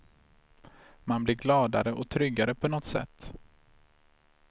Man blir gladare och tryggare på något sätt.